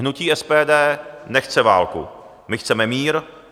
Hnutí SPD nechce válku, my chceme mír.